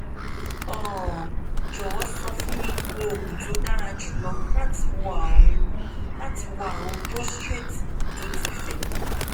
um jọwọ sọ fún mi oògùn tó dára jùlọ láti wo àrùn láti wo àrùn prostate tó ti fẹ